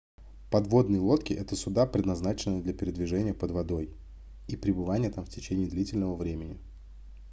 подводные лодки это суда предназначенные для передвижения под водой и пребывания там в течение длительного времени